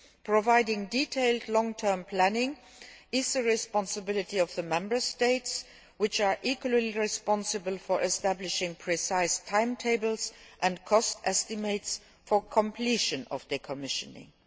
Providing detailed long term planning is the responsibility of the Member States, which are equally responsible for establishing precise timetables and cost estimates for the completion of decommissioning.